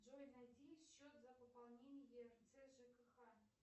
джой найди счет за пополнение еирц жкх